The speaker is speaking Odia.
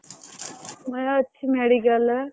ମୁଁ ଏଇ ଅଛି medical ରେ ବା।